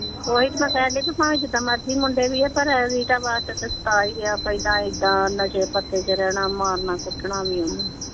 ਓਹੀ ਤੇ ਮੈਂ ਕਹਿਣ ਡਈ ਕੀ ਭਾਵੇਂ ਜਿਦਾਂ ਮਰਜ਼ੀ ਮੁੰਡੇ ਵੀ ਆ ਪਰ ਪਹਿਲਾਂ ਇਹਦਾ ਨਸ਼ੇ ਪੱਤੇ ਚ ਰਹਿਣਾ ਮਾਰਨਾ ਕੁੱਟਣਾ ਵੀ ਓਹਨੂੰ।